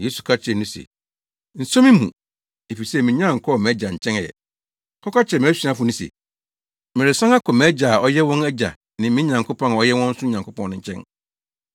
Yesu ka kyerɛɛ no se, “Nso me mu, efisɛ minnya nkɔɔ mʼAgya nkyɛn ɛ; kɔka kyerɛ mʼasuafo no se, meresan akɔ mʼAgya a ɔyɛ wɔn agya ne me Nyankopɔn a ɔyɛ wɔn nso Nyankopɔn no nkyɛn.”